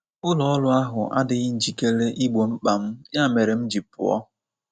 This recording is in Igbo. Ụlọ ọrụ ahụ adịghị njikere igbo mkpa m, ya mere m ji pụọ.